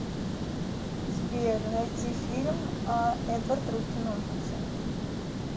сбер найти фильм а эдвард руки ножницы